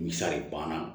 Misali banna